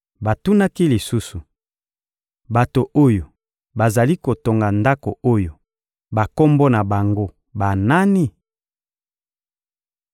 Batunaki lisusu: — Bato oyo bazali kotonga Ndako oyo, bakombo na bango banani?